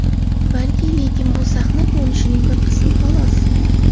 Balki, lekin bu sahna ko‘rinishimning bir qismi, xolos.